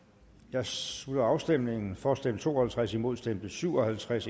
her slutter afstemningen for stemte to og halvtreds imod stemte syv og halvtreds